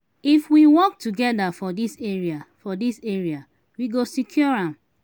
if we work together for dis area for dis area we go secure am.